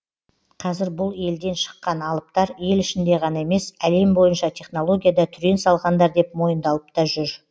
қазір бұл елден шыққан алыптар ел ішінде ғана емес әлем бойынша технологияда түрен салғандар деп мойындалып та жүр